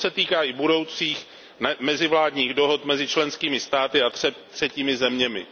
To se týká i budoucích mezivládních dohod mezi členskými státy a třetími zeměmi.